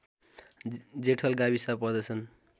जेठल गाविस पर्दछन्